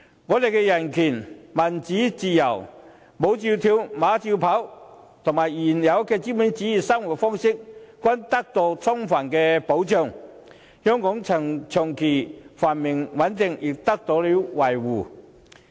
我們的人權、民主和自由，"舞照跳，馬照跑"，以及原有的資本主義生活方式均得到充分保障，香港的長期繁榮穩定亦得到了維護。